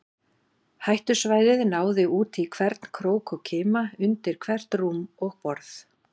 Hættusvæðið náði út í hvern krók og kima, undir hvert rúm og borð.